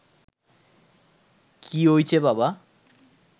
কী ওইচে বাবা